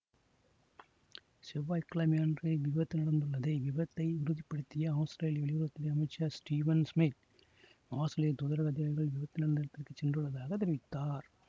செவ்வாய் கிழமை அன்று இவ்விபத்து நடந்துள்ளது இவ்விபத்தை உறுதிப்படுத்திய ஆஸ்திரேலிய வெளியுறவு துறை அமைச்சர் ஸ்டீவன் சிமித் ஆஸ்திரேலிய தூதரக அதிகாரிகள் விபத்து நடந்த இடத்துக்கு சென்றுள்லதாக தெரிவித்தார்